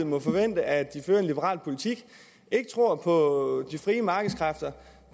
må forvente at de fører en liberal politik ikke tror på de frie markedskræfter